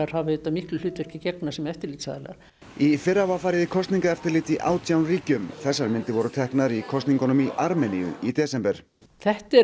hafa auðvitað miklu hlutverki að gegna sem eftirlitsaðilar í fyrra var farið í kosningaeftirlit í átján ríkjum þessar myndir voru teknar í kosningunum í Armeníu í desember þetta er